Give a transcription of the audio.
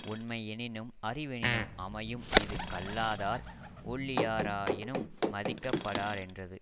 ஒண்மை யெனினும் அறிவெனினும் அமையும் இது கல்லாதார் ஒள்ளியாராயினும் மதிக்கப்படாரென்றது